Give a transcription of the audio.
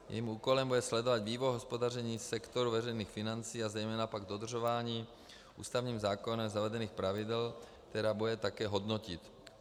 Jejím úkolem bude sledovat vývoj hospodaření sektoru veřejných financí a zejména pak dodržování ústavním zákonem zavedených pravidel, která bude také hodnotit.